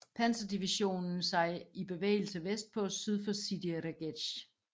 Panzerdivision sig i bevægelse vestpå syd for Sidi Rezegh